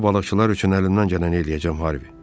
Mən o balıqçılar üçün əlimdən gələni eləyəcəm Harvi.